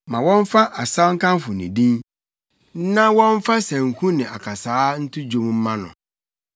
Ma wɔmfa asaw nkamfo ne din na wɔmfa sanku ne akasaa nto dwom mma no.